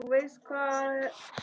Og það var lítið barn.